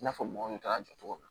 I n'a fɔ mɔgɔw bɛ taa jɔ togo min na